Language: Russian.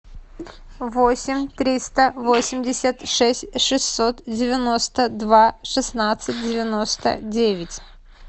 восемь триста восемьдесят шесть шестьсот девяносто два шестнадцать девяносто девять